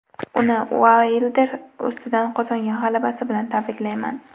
Uni Uaylder ustidan qozongan g‘alabasi bilan tabriklayman.